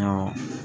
Awɔ